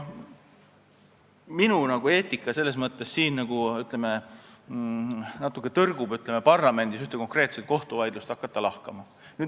Minu eetika selles mõttes natuke tõrgub selle vastu, et hakata parlamendis ühte konkreetset kohtuvaidlust lahkama.